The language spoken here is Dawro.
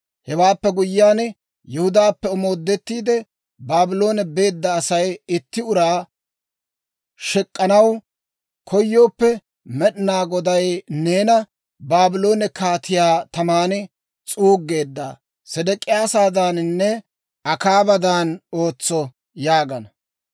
Hewaappe guyyiyaan, Yihudaappe omoodettiide, Baabloone beedda Asay itti uraa shek'k'anaw koyooppe, «Med'inaa Goday neena Baabloone kaatii taman s'uuggeedda S'idik'iyaadaaninne Akaabadan ootso» yaagana.